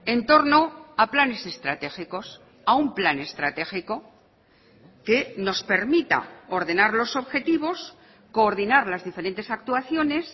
en torno a planes estratégicos a un plan estratégico que nos permita ordenar los objetivos coordinar las diferentes actuaciones